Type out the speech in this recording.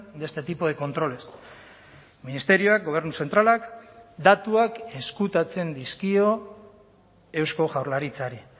de este tipo de controles ministerioak gobernu zentralak datuak ezkutatzen dizkio eusko jaurlaritzari